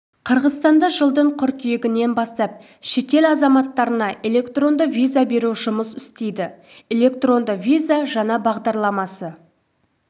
қырғызстанда жылдың қыркүйегінен бастап шетел азаматтарына электронды виза беру жүйесі жұмыс істейді электронды виза жаңа бағдарламасы